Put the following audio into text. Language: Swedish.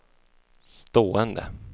stående